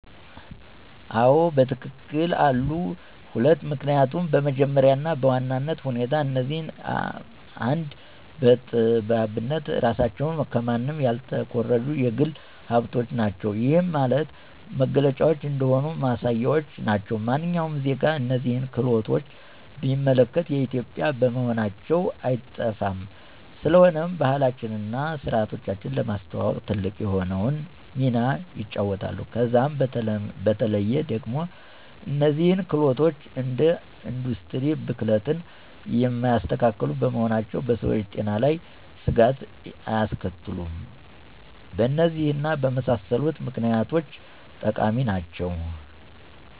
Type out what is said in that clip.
1, አዎ በትክክል አሉ፤ 2, ምክኒያቱም በመጀመሪያ እና በዋናነት ሁኔታ እነዚህ አደ ጠጥባት የራሳችን ከማንም ያልተኮረጁ የግል ሀብቶቻችን ናቸው። ይህም ማለት መገለጫዎቻችን እንደሆኑ ማሳያዎች ናቸው። ማንኛውም ዜጋ እነዚህን ክህሎቶች ቢመለከት የኢትዮጵዊያን መሆናቸው አይጠፋውም፤ ስለሆነም ባህላችንን እና ስርዓታችንን ለማስተዋወቅ ትልቅ የሆነውን ሚና ይጫወታሉ። ከዛም በተለዬ ደግሞ እነዚህ ክህሎቶች እንደ ኢንዱስትሪ ብክለትን የማያስከትሉ በመሆናቸው በሰዎች ጤና ላይ ስጋት አያስከትሉም። በእነዚህ እና በመሳሰሉት ምክኒያቶች ጠቃሚ ናቸው።